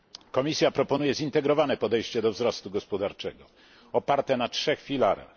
Komisja proponuje zintegrowane podejście do wzrostu gospodarczego oparte na 3 filarach.